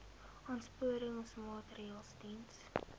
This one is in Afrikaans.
aansporingsmaatre ls diens